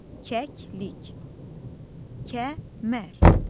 Kəklik, Kəmər.